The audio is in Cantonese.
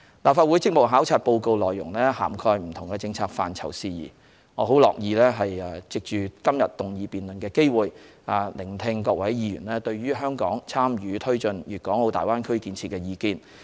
立法會職務考察報告內容涵蓋不同政策範疇事宜，我很樂意藉今天議案辯論的機會，聆聽各位議員對於香港參與推進大灣區建設的意見。